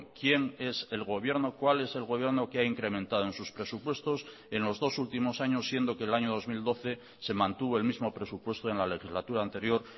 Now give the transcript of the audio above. quién es el gobierno cuál es el gobierno que ha incrementado en sus presupuestos en los dos últimos años siendo que el año dos mil doce se mantuvo el mismo presupuesto en la legislatura anterior